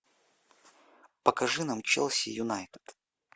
покажи нам челси юнайтед